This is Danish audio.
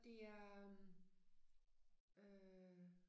Det er øh øh